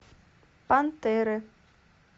пантеры